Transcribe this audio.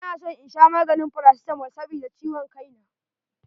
Ina son in sha maganin paracetamol sabida ciwon kai na.